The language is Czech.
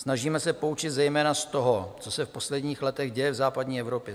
Snažíme se poučit zejména z toho, co se v posledních letech děje v západní Evropě.